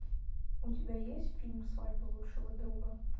у тебя есть фильм свадьба лучшего друга